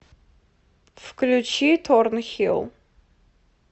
включи торнхилл